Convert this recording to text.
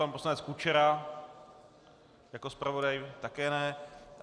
Pan poslanec Kučera jako zpravodaj také ne.